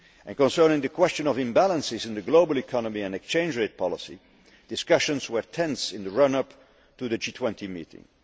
Concerning the question of imbalances in the global economy and exchange rate policy, discussions were tense in the run up to the G20 meeting.